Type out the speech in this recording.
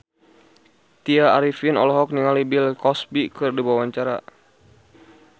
Tya Arifin olohok ningali Bill Cosby keur diwawancara